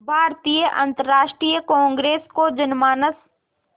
भारतीय राष्ट्रीय कांग्रेस को जनमानस